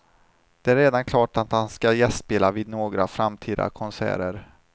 Det är redan klart att han ska gästspela vid några framtida konserter.